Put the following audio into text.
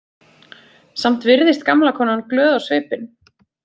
Samt virðist gamla konan glöð á svipinn.